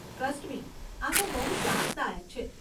Trust me આતો બહુ ત્રાસદાયક છે.